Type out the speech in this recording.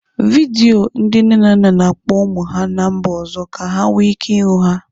Vidio ndị nne na nna na-akpọ ụmụ ha ná mba ọzọ ka ha nwee ike ịhụ ha.